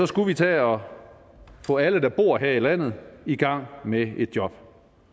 skulle vi tage og få alle der bor her i landet i gang med et job